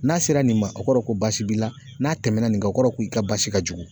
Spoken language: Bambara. N'a sera nin ma o kɔrɔ ko basi b'i la, n'a tɛmɛna nin kan o kɔrɔ i ka baasi ka jugu.